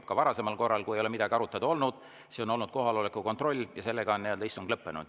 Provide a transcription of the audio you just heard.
Ka varasemalt, kui ei ole midagi arutada olnud, on olnud vähemalt kohaloleku kontroll ja sellega on istung lõppenud.